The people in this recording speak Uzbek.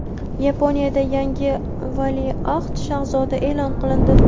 Yaponiyada yangi valiahd shahzoda e’lon qilindi.